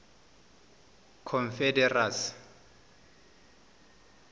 confederacy